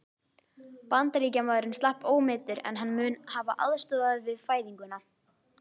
Bandaríkjamaðurinn slapp ómeiddur, en hann mun hafa aðstoðað við fæðinguna.